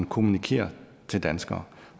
kommunikerer til danskere